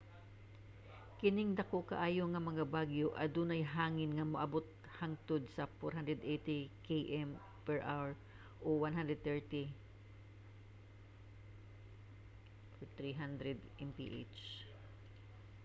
kining dako kaayo nga mga bagyo adunay hangin nga moabot hangtod sa 480 km/h 133 m/s; 300 mph